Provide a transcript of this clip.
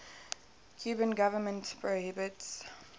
cuban government prohibits